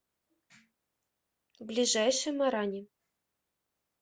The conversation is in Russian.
ближайший марани